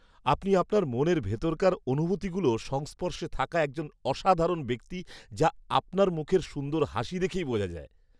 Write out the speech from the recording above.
আপনি আপনার মনের ভিতরকার অনুভূতিগুলো সংস্পর্শে থাকা একজন অসাধারণ ব্যক্তি, যা আপনার মুখের সুন্দর হাসি দেখেই বোঝা যায়।